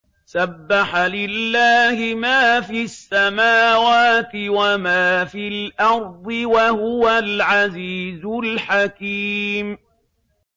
سَبَّحَ لِلَّهِ مَا فِي السَّمَاوَاتِ وَمَا فِي الْأَرْضِ ۖ وَهُوَ الْعَزِيزُ الْحَكِيمُ